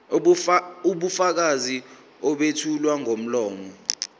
ubufakazi obethulwa ngomlomo